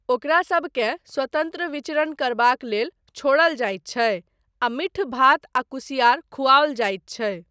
ओकरासबकेँ स्वतन्त्र विचरण करबाक लेल छोड़ल जाइत छै आ मीठ भात आ कुसिआर खुआओल जाइत छै।